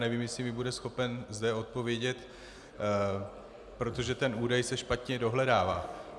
Nevím, jestli mi bude schopen zde odpovědět, protože ten údaj se špatně dohledává.